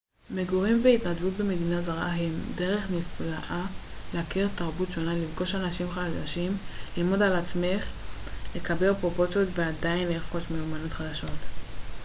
מגורים והתנדבות במדינה זרה הם דרך נפלאה להכיר תרבות שונה לפגוש אנשים חדשים ללמוד על עצמך לקבל פרופורציות ואפילו לרכוש מיומנויות חדשות